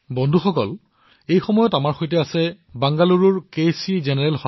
বন্ধুসকল আমাৰ সৈতে বৰ্তমান বেংগালুৰুৰ চিষ্টাৰ সুৰেখা জী জড়িত হৈছে